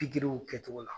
Pikiriw kɛcogo la